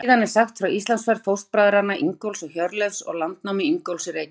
Síðan er sagt frá Íslandsferð fóstbræðranna Ingólfs og Hjörleifs og landnámi Ingólfs í Reykjavík.